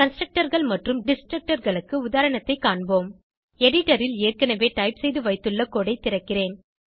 Constructorகள் மற்றும் Destructorகளுக்கு உதாரணத்தை காண்போம் எடிட்டர் ல் ஏற்கனவே டைப் செய்து வைத்துள்ள கோடு ஐ திறக்கிறேன்